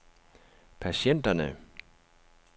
patienterne